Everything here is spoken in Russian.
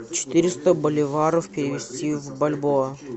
четыреста боливаров перевести в бальбоа